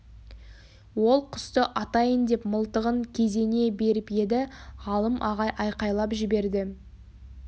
ол құсты атайын деп мылтығын кезене беріп еді ғалым ағай айқайлап жіберді